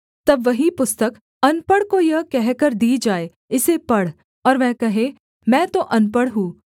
तब वही पुस्तक अनपढ़ को यह कहकर दी जाए इसे पढ़ और वह कहे मैं तो अनपढ़ हूँ